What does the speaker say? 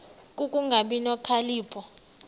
ku kungabi nokhalipho